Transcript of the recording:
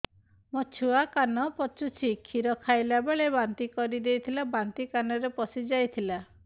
ମୋ ଛୁଆ କାନ ପଚୁଛି କ୍ଷୀର ଖାଇଲାବେଳେ ବାନ୍ତି କରି ଦେଇଥିଲା ବାନ୍ତି କାନରେ ପଶିଯାଇ ଥିଲା